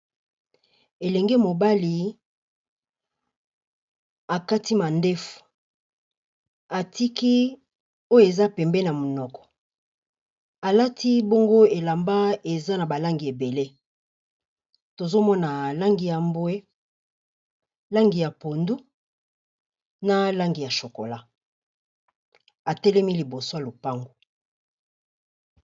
Elenge mobali a kati mandefu, a tiki oyo eza pembeni ya monoko, a lati bongo elamba eza na ba langi ébélé, tozo mona langi ya mbwe, langi ya pondu na langi ya chocolat, a telemi liboso ya lopango .